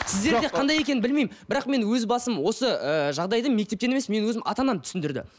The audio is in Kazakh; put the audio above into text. сіздерде қандай екенін білмеймін бірақ менің өз басым осы ыыы жағдайды мектептен емес менің өзім ана анам түсіндірді